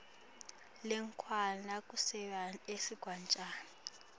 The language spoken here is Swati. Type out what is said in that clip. lwekucala kusebenta kwesigatjana